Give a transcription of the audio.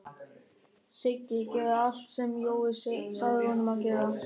Siggi gerði allt sem Jói sagði honum að gera.